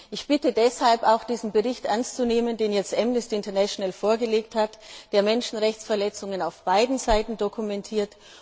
Ich bitte deshalb, den Bericht ernst zu nehmen, den Amnesty International vorgelegt hat, der Menschenrechtsverletzungen auf beiden Seiten dokumentiert.